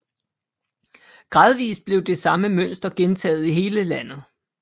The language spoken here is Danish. Gradvist blev det samme mønster gentaget i hele landet